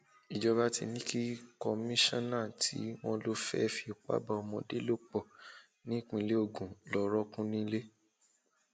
ìjọba ti ní kí kọmísona tí wọn lọ fẹẹ fipá bá ọmọdé lò pọ um nípìnlẹ ogun lọọ rọọkùn nílé um